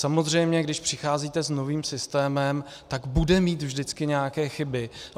Samozřejmě když přicházíte s novým systémem, tak bude mít vždycky nějaké chyby.